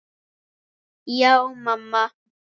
Já, mamma.